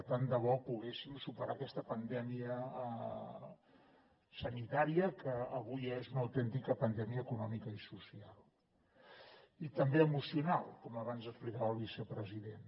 tant de bo poguéssim superar aquesta pandèmia sanitària que avui és una autèntica pandèmia econòmica i social i també emocional com abans explicava el vicepresident